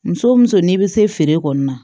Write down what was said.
Muso o muso n'i bɛ se feere kɔni na